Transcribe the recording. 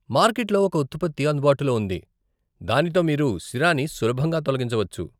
Market లో ఒక ఉత్పత్తి అందుబాటులో ఉంది, దానితో మీరు సిరాని సులభంగా తొలగించవచ్చు.